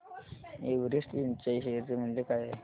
Everest Ind च्या share चे मूल्य काय आहे